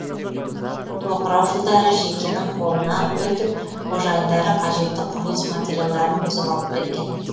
тоқырау жылдары жекенің қолына өтіп қожайындары қажетті құрылыс материалдарын бұзып алып кеткен